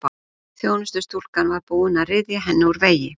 Þjónustustúlkan var búin að ryðja henni úr vegi.